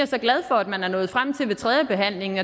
så glad for at man er nået frem til ved tredjebehandlingen